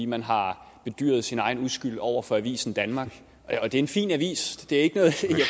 man har bedyret sin egen uskyld over for avisen danmark og det er en fin avis